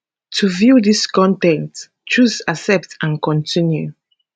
to view dis con ten t choose accept and continue